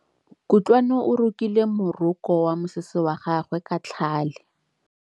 Kutlwanô o rokile morokô wa mosese wa gagwe ka tlhale.